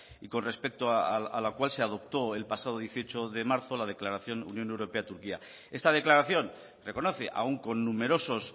y con respecto a la cual se adopto el pasado dieciocho de marzo la declaración unión europea y turquía esta declaración reconoce aún con numerosos